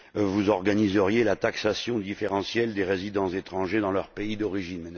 Vous organiseriez la taxation différentielle des résidents étrangers dans leur pays d'origine.